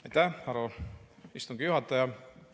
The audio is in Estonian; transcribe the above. Aitäh, härra istungi juhataja!